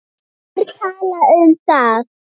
Hverjir tala um það?